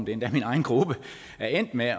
endda min egen gruppe er endt med